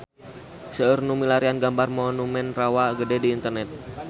Seueur nu milarian gambar Monumen Rawa Gede di internet